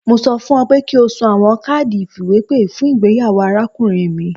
Mo sọ fun ọ pe ki o sun awọn kaadi ifiwepe fun igbeyawo arakunrin mi